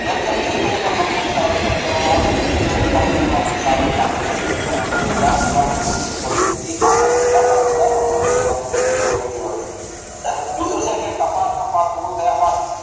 જેમ જેમ ખેડી મગફળી જે લેવામાં આવે તો ઉત્પાદનમાં સારું મળી જાત લેવાની જરૂર નથી પડતી ઈ ખાસ આપડે ધ્યાન રાખીયે દર વખતે લેવાની જરૂર નથી હોતી બીજું છે કે કપાસ ના પાક પૂરો થયા બાદ